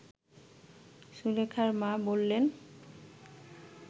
সুলেখার মা বললেন